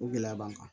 O gɛlɛya b'an kan